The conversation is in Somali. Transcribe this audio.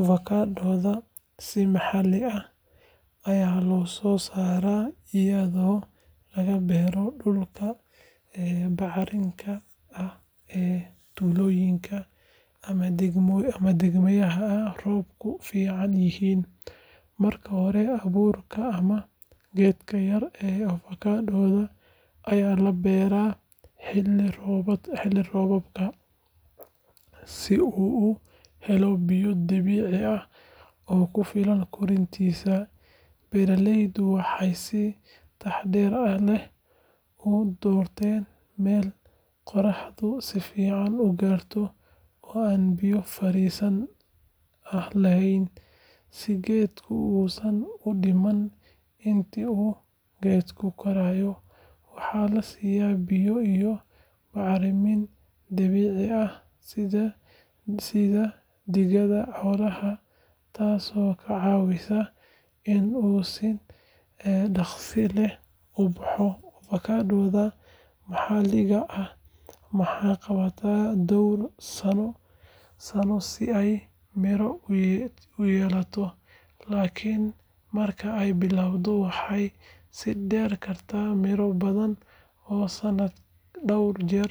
Avokaatada si maxalli ah ayaa loo soo saaraa iyadoo laga beero dhulka bacrinka ah ee tuulooyinka ama deegaanada ay roobabku fiican yihiin. Marka hore, abuurka ama geedka yar ee avokaatada ayaa la beeraa xilli roobaadka si uu u helo biyo dabiici ah oo ku filan koritaankiisa. Beeraleydu waxay si taxaddar leh u doortaan meel qorraxdu si fiican u gaarto oo aan biyo fariisin ah lahayn, si geedka uusan u dhiman. Intii uu geedku korayo, waxaa la siiyaa biyo iyo bacriminta dabiiciga ah sida digada xoolaha, taasoo ka caawisa inuu si dhakhso leh u baxo. Avokaatada maxalliga ah waxay qaadataa dhowr sano si ay miro u yeelato, laakiin marka ay bilaabato waxay sii deyn kartaa miro badan oo sanadka dhowr jeer